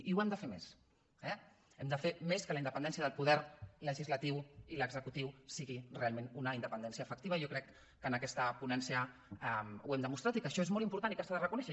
i ho hem de fer més eh hem de fer més que la independència del poder legislatiu i l’executiu sigui realment una independència efectiva i jo crec que en aquesta ponència ho hem demostrat i que això és molt important i que s’ha de reconèixer